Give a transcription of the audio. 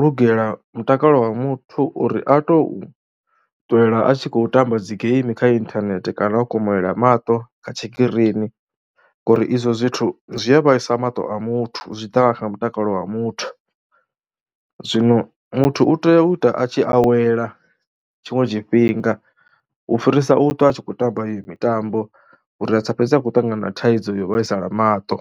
lugela mutakalo wa muthu uri a tou ṱwela a tshi khou tamba dzi game kha inthanethe kana o komolela maṱo kha tshikirini ngori izwo zwithu zwi a vhaisa maṱo a muthu zwi ḓa na kha mutakalo wa muthu. Zwino muthu u tea u ita a tshi awela tshiṅwe tshifhinga u fhirisa u ṱwa a tshi khou tamba iyo mitambo uri a sa fhedzisele a tshi khou ṱangana na thaidzo yo vhaisala maṱo.